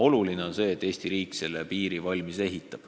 Oluline on see, et Eesti riik selle piiri valmis ehitab.